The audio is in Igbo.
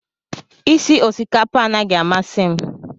Isi osikapa anaghị amasị m